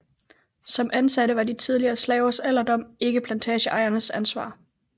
Som ansatte var de tidligere slavers alderdom ikke plantageejernes ansvar